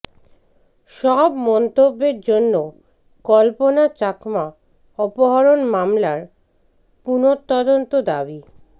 সব মন্তব্যের জন্য কল্পনা চাকমা অপহরণ মামলার পুনঃতদন্ত দাবি